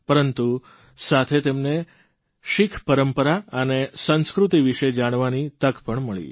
પરંતુ સાથે તેમને શીખપરંપરા અને સંસ્કૃતિ વિષે જાણવાની તક પણ મળી